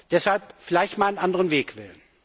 Deshalb vielleicht einmal einen anderen Weg wählen.